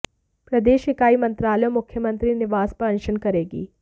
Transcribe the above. प्रदेश ईकाई मंत्रालय और मुख्यमंत्री निवास पर अनशन करेगी